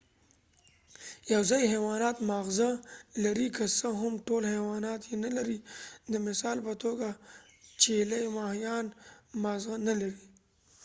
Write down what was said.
یواځی حیوانات ماغزه لري که څه هم ټول حیوانات یې نه لري : د مثال په توګه چېلی ماهیان ماغزه نه لري